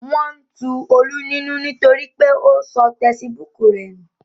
Wọn tu Olú nínú nítorí pé ó sọ tesibúùkù rẹ̀ nù